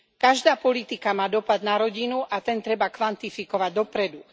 Každá politika má dopad na rodinu, a ten treba kvantifikovať dopredu.